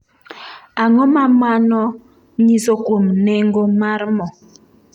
Ang’o ma mano nyiso kuom nengo mar mo?